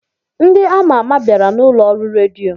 Ndị ama ama bịara n'ụlọ ọrụ redio.